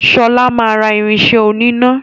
Shola má rà irinṣẹ́ oníná.